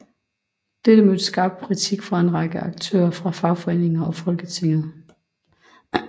Dette mødte skarp kritik fra en række aktører fra fagforeninger og Folketinget